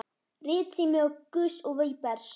Ritsími Gauss og Webers.